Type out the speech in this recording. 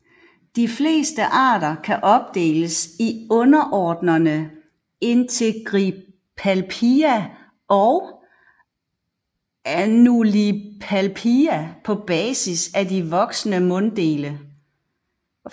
De fleste arter kan opdeles i underordenerne Integripalpia og Annulipalpia på basis af de voksne munddele